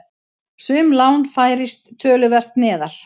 Sum lán færist töluvert neðar.